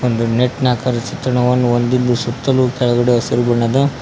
ಒಂದು ನೆಟ್ ನ ಆಕಾರದ ಚಿತ್ರಣವನ್ನು ಹೊಂದಿದ್ದು ಸುತ್ತಲೂ ಕೆಳಗಡೆ ಹಸಿರು ಬಣ್ಣದ.